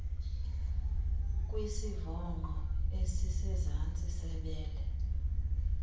kwisivongqo esisezantsi sebele